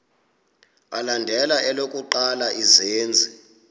alandela elokuqala izenzi